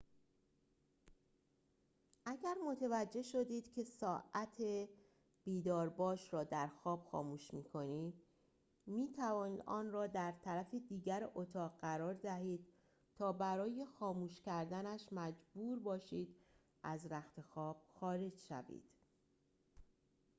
اگر متوجه شدید که ساعت بیدارباش را در خواب خاموش می‌کنید می‌تواند آن را در طرف دیگر اتاق قرار دهید تا برای خاموش کردنش مجبور باشید از رختخواب خارج شوید